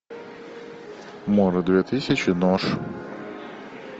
мора две тысячи нож